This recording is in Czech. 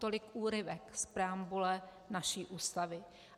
Tolik úryvek z preambule naší Ústavy.